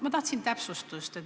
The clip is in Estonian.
Ma tahaksin täpsustust.